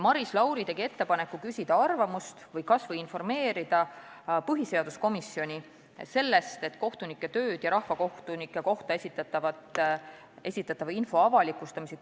Maris Lauri tegi ettepaneku küsida arvamust põhiseaduskomisjonilt või kas või informeerida seda komisjoni, et selle eelnõuga tahetakse muuta ka kohtunike töösse puutuvat ja rahvakohtunike kohta esitatava info avalikustamist.